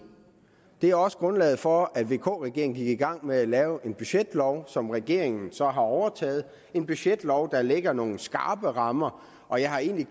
det er også grundlaget for at vk regeringen gik i gang med at lave en budgetlov som regeringen så har overtaget det en budgetlov der lægger nogle skrappe rammer og jeg har egentlig